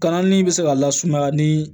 Kalanni bɛ se ka lasumaya ni